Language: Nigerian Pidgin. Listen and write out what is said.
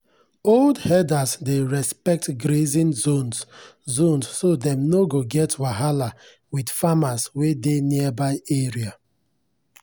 old herders dey respect grazing zones zones so dem no go get wahala with farmers wey dey nearby area.